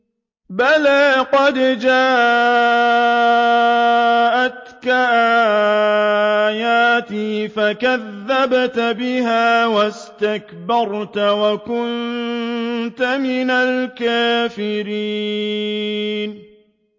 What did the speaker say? بَلَىٰ قَدْ جَاءَتْكَ آيَاتِي فَكَذَّبْتَ بِهَا وَاسْتَكْبَرْتَ وَكُنتَ مِنَ الْكَافِرِينَ